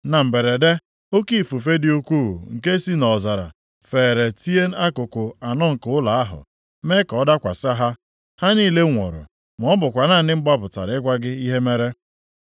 na mberede, oke ifufe dị ukwuu nke si nʼọzara feere tie akụkụ anọ nke ụlọ ahụ, mee ka ọ dakwasị ha. Ha niile nwụrụ, ma ọ bụkwa naanị m gbapụtara ịgwa gị ihe mere.”